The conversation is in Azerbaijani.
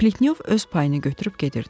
Pletnyov öz payını götürüb gedirdi.